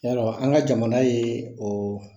Y'a dɔn an ka jamana ye oo